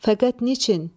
Fəqət niçin?